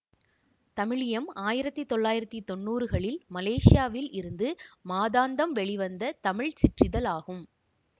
தமிழியம் ஆயிரத்தி தொள்ளாயிரத்தி தொன்னூறு களில் மலேசியாவில் இருந்து மாதாந்தம் வெளிவந்த தமிழ் சிற்றிதழ் ஆகும்